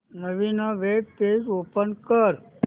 नवीन web page open कर